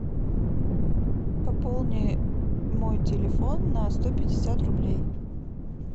пополни мой телефон на сто пятьдесят рублей